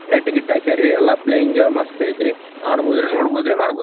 light ಗೀಟ ಹಾಕ್ಯಾರೀ ಎಲ್ಲಾ ಪ್ಲೇಯಿಂಗ್ ಮಸ್ತ್ ಐತ್ರಿ ಮಾಡಬಹುದ್ರೀ ನೋಡಬಹುದ್ರೀ ಮಾಡಬಹುದ.--